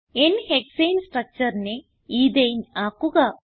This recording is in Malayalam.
n ഹെക്സാനെ structureനെ എത്തനെ ആക്കുക